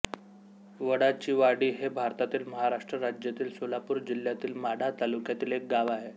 वडाचीवाडी हे भारतातील महाराष्ट्र राज्यातील सोलापूर जिल्ह्यातील माढा तालुक्यातील एक गाव आहे